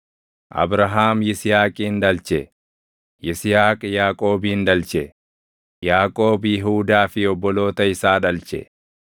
Abrahaam Yisihaaqin dhalche; Yisihaaq Yaaqoobin dhalche; Yaaqoob Yihuudaa fi obboloota isaa dhalche;